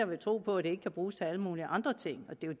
vil tro på at det ikke kan bruges til alle mulige andre ting det er